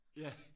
Ja